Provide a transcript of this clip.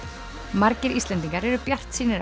margir Íslendingar eru bjartsýnir